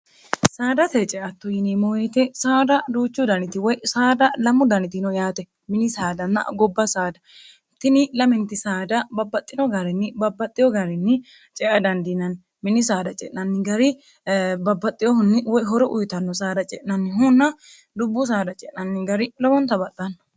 saadate ceatto yini moyite saada duuchu daniti woy saada lamu danitino yaate mini saadana gobba saada tini laminti saada babbaxxino garinni babbaxxiyo garinni cea dandiinanni mini saada ce'nanni gari babbaxxiyohunni woyhoro uyitanno saada ce'nanni hunna dubbu saada ce'nanni gari lomoontabaxxanno